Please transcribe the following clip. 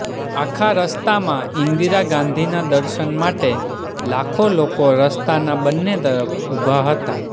આખા રસ્તામાં ઇન્દિરા ગાંધીના દર્શન માટે લાખો લોકો રસ્તાના બંને તરફ ઉભા હતા